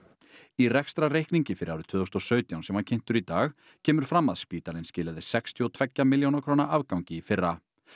í rekstrarreikningi fyrir árið tvö þúsund og sautján sem var kynntur í dag kemur fram að spítalinn skilaði sextíu og tveggja milljóna króna afgangi í fyrra